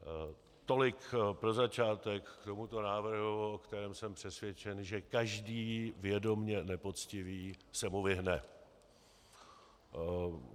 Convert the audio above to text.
Tolik pro začátek k tomuto návrhu, o kterém jsem přesvědčen, že každý vědomě nepoctivý se mu vyhne.